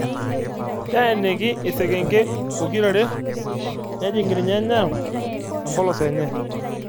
Teeniki isekenke pokirare nejing' irnyanya empolos enye.